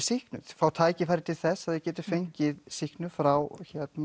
sýknuð fá tækifæri til þess að þau geti fengið sýknun frá